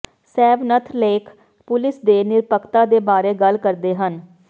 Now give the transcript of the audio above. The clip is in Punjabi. ਸੈਵਨਥ ਲੇਖ ਪੁਲਿਸ ਦੇ ਨਿਰਪੱਖਤਾ ਦੇ ਬਾਰੇ ਗੱਲ ਕਰਦੇ ਹਨ